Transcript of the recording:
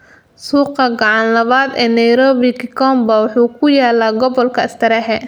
Suuqa gacan labaad ee Nairobi, Gikombaa, wuxuu ku yaalaa gobolka Starehe.